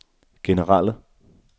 generelle